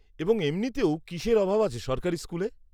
-এবং এমনিতেও কিসের অভাব আছে সরকারি স্কুলে?